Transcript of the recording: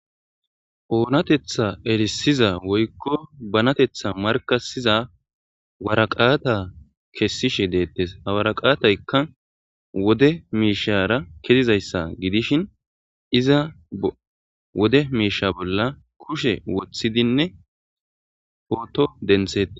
Oonateththa erisiza woykko bateththa markaththiza waraqata kesishe deettes ha waraqataykka wode miishshara kezizayssa gidishin wode miishsha bolla kushe woththidinne potto denththetes.